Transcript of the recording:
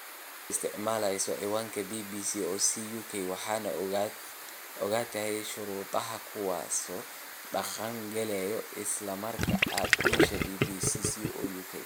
Adigoo isticmaalaya ciwanka bbc.co.uk waxaad ogolaatay shuruudahan, kuwaas oo dhaqan galaya isla marka aad gasho bbc.co.uk.